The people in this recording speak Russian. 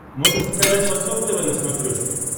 можешь показать восток тв на смотрешке